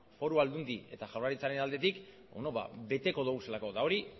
foru aldundi eta jaurlaritzaren aldetik beno ba beteko ditugulako eta hori